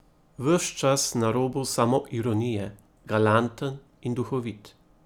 Ves čas na robu samoironije, galanten in duhovit.